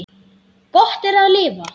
Gott er að lifa.